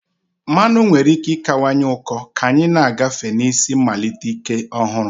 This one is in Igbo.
Mmanụ nwere ike ịkawanye ụkọ ka anyị na-agafe na isi mmalite ike ọhụrụ.